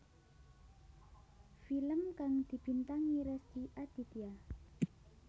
Film kang dibintangi Rezky Aditya